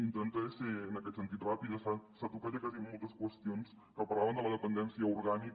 intentaré ser en aquest sentit ràpida s’han tocat ja quasi moltes qüestions que parlaven de la dependència orgànica